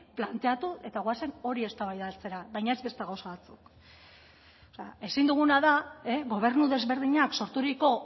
planteatu eta goazen hori eztabaidatzera baina ez beste gauza batzuk ezin duguna da gobernu desberdinak sorturiko